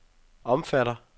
omfatter